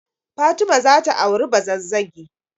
Fatima za ta auri Bazazzagi.